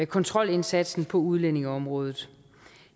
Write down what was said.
kontrolindsatsen på udlændingeområdet